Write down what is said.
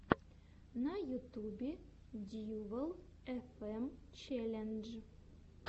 на ютубе дьювал эфэм челлендж